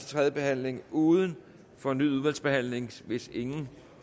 tredje behandling uden fornyet udvalgsbehandling hvis ingen